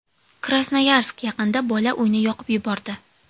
Krasnoyarsk yaqinida bola uyni yoqib yubordi.